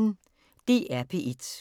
DR P1